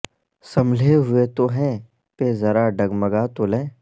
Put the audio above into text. سنبھلے ہوئے تو ہیں پہ ذرا ڈگمگا تو لیں